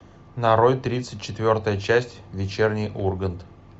нарой тридцать четвертая часть вечерний ургант